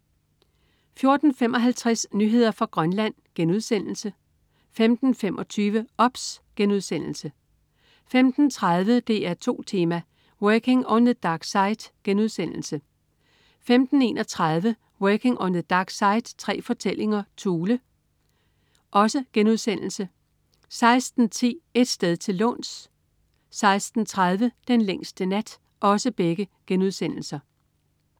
14.55 Nyheder fra Grønland* 15.25 OBS* 15.30 DR2 Tema: Working on the Dark Side* 15.31 Working on the Dark Side. Tre fortællinger Thule* 16.10 Et sted til låns* 16.30 Den længste nat*